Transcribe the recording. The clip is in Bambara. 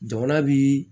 Jamana bi